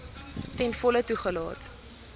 ten volle toegelaat